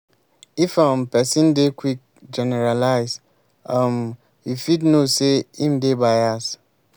if um person dey quick generalize um you fit know sey im dey bias